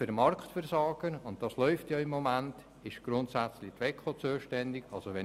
Für Marktversagen ist grundsätzlich die WEKO zuständig, und das läuft ja bereit.